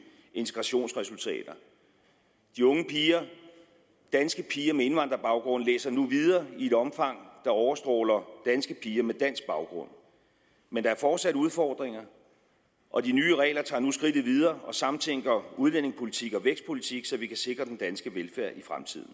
integrationsresultater de unge piger danske piger med indvandrerbaggrund læser nu videre i et omfang der overstråler danske piger med dansk baggrund men der er fortsat udfordringer og de nye regler tager nu skridtet videre og samtænker udlændingepolitik og vækstpolitik så vi kan sikre den danske velfærd i fremtiden